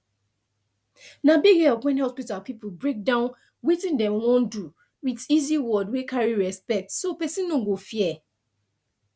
na big help when hospital people break down wetin dem wan do with easy word wey carry respect so person no go fear